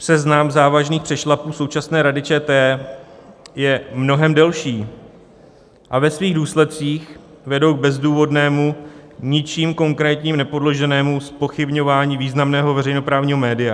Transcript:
Seznam závažných přešlapů současné Rady ČT je mnohem delší a ve svých důsledcích vedou k bezdůvodnému, ničím konkrétním nepodloženému zpochybňování významného veřejnoprávního média.